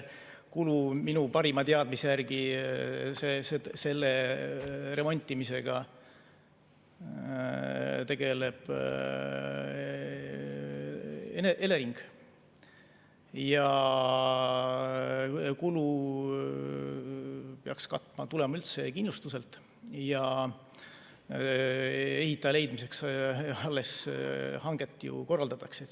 Minu parima teadmise järgi tegeleb selle remontimisega Elering, kulu peaks katma üldse kindlustus ja ehitaja leidmiseks alles hanget ju korraldatakse.